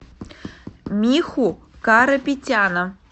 миху карапетяна